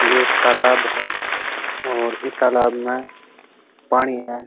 ये एक तालाब है और इस तालाब में पानी है।